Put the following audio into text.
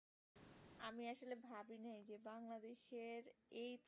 এই তো